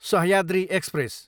Sahyadri express